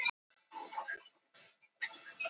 Fráleitt að sækja ráðherrana til saka